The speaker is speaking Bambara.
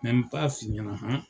n b'a f'i ɲana han .